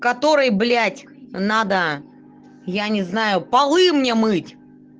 который блядь надо я не знаю полы мне мыть